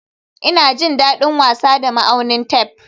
Ina jin daɗin wasa da ma'aunin tef